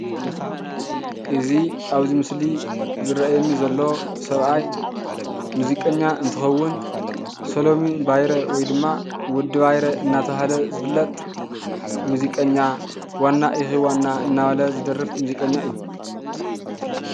እዚ ኣብዚ ምስሊ ዝረአየኒ ዘሎ ሰብኣይ ሙዚቀኛ እንትኸውን ሰለሙን ባይረ ወይ ድማ ወዲ ባይረ እናተባህለ ዝፍለጥ ሙዚቀኛ ዋና እኺ ዋና እናበለ ዝደርፍ ሙዚቀኛ እዩ፡፡